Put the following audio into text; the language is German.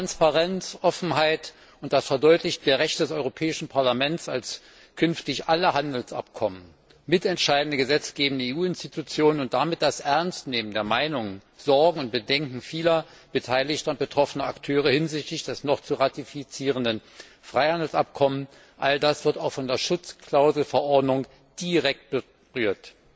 Transparenz, Offenheit unter Verdeutlichung der Rechte des Europäischen Parlaments als künftig alle Handelsabkommen mitentscheidende gesetzgebende EU Institution und damit das Ernstnehmen der Meinungen, Sorgen und Bedenken vieler beteiligter und betroffener Akteure hinsichtlich des noch zu ratifizierenden Freihandelsabkommens, all das wird von der Schutzklauselverordnung direkt berührt.